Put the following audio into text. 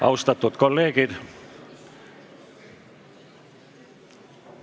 Austatud kolleegid!